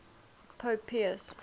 pope pius